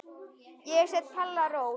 Ég set Palla Rós.